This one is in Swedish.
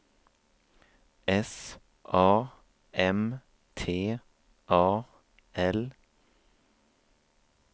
S A M T A L